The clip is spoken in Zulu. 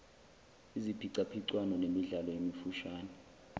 iziphicaphicwano nemidlalo emifushane